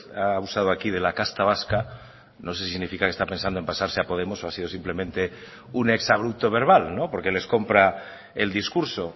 ha usado aquí de la casta vasca no sé si significa que está pensando en pasarse a podemos o ha sido simplemente un exabrupto verbal porque les comprar el discurso